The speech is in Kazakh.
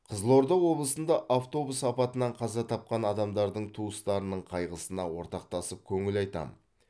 қызылорда облысында автобус апатынан қаза тапқан адамдардың туыстарының қайғысына ортақтасып көңіл айтамын